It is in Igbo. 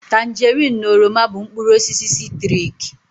Tanjerin na oroma bụ mkpụrụ osisi sitriki